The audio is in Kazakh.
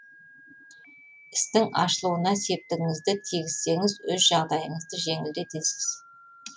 істің ашылуына септігіңізді тигізсеңіз өз жағдайыңызды жеңілдетесіз